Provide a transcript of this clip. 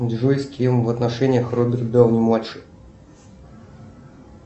джой с кем в отношениях роберт дауни младший